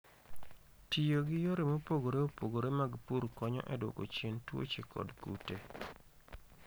Tiyo gi yore mopogore opogore mag pur konyo e dwoko chien tuoche kod kute.